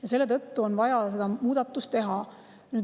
Ja selle tõttu on vaja seda muudatust teha.